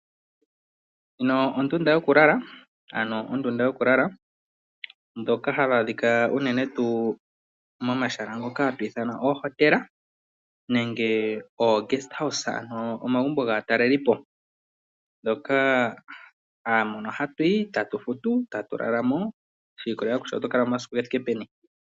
Ndjino ondunda yokulala ano hayi adhikwa momahala ngoka haga ithanwa oohotela nenge omagumbo gaatalelipo, mono hatu yi etatu lala mo. Ohatu futu shiikolelela komasiku ngoka twa lala mo.